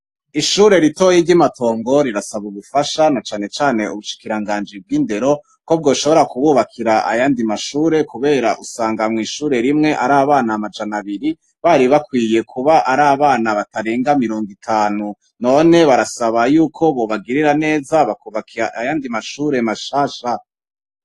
Ishure ritoyi ry'i Matongo rirasaba ubufasha na canecane ubushikiranganji bw'indero ko bwoshobora kububakira ayandi mashure kubera usanga mw'ishure rimwe ari abana amajana abiri, bari bakwiye kuba ari abana batarenga mirongo itanu, none barasaba yuko bobagirira neza, bakubaka ayandi mashure mashasha.